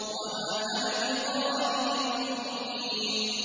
وَمَا أَنَا بِطَارِدِ الْمُؤْمِنِينَ